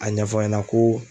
A ɲɛfɔ an ɲɛna ko